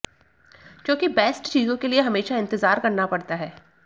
क्योंकि बेस्ट चीज़ों के लिए हमेशा इंतज़ार करना पड़ता है